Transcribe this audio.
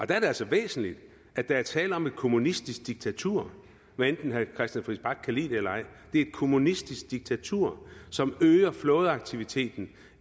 der er det altså væsentligt at der er tale om et kommunistisk diktatur hvad enten herre christian friis bach kan lide det eller ej det er et kommunistisk diktatur som øger flådeaktiviteten